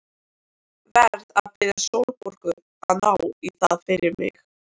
Verð að biðja Sólborgu að ná í það fyrir mig.